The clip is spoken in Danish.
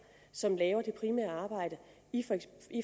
som laver det primære arbejde